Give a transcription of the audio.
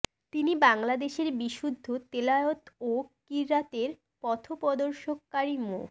তিনি বাংলাদেশের বিশুদ্ধ তেলাওয়াত ও ক্বিরাতের পথপ্রদর্শক ক্বারি মো